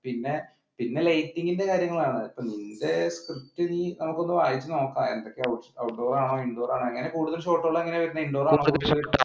പിന്നെ പിന്നെ lighting ന്റെ കാര്യങ്ങളാണ് outdoor ആണോ indoor ആണോ കൂടുതൽ ഷോട്ടുകൾ എങ്ങനെ വരുന്നത്